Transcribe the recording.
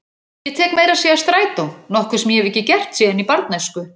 Ég tek meira að segja strætó, nokkuð sem ég hef ekki gert síðan í barnæsku.